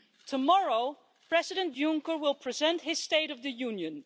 Tomorrow, President Juncker will present his State of the Union.